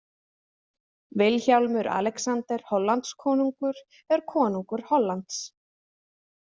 Vilhjálmur Alexander Hollandskonungur er konungur Hollands.